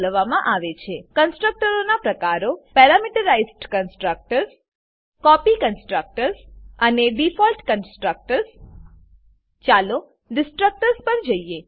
કન્સ્ટ્રકટરોનાં પ્રકારો160 parameterized constructors parameterized constructors copy constructors copy constructors અને default constructors default constructors ચાલો destructors destructors પર જઈએ